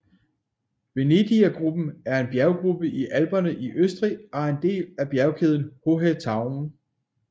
Venedigergruppen er en bjerggruppe i Alperne i Østrig og er en del af bjergkæden Hohe Tauern